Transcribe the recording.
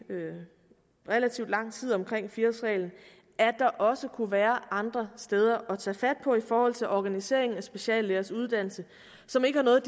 relativt lang tid at der også kunne være andre steder at tage fat på i forhold til organisering af speciallægers uddannelse som ikke har noget